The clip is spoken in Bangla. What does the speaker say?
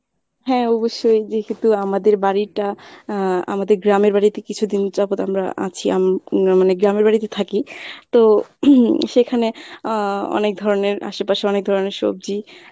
হ্যাঁ অবশ্যই যেহেতু আমাদের বাড়িটা আ্যঁ আমাদের গ্রামের বাড়িতে কিছুদিন যাবৎ আমরা আছি আম~ রা মানে গ্রামের বাড়িতে থাকি। তো সেখানে আহ অনেক ধরনের আশেপাশে অনেক ধরনের সবজি